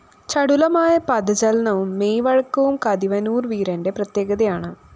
ചടുലമായ പദചലനവും മെയ്‌ വഴക്കവും കതിവനൂര്‍ വീരന്റെ പ്രത്യേകതയാണ്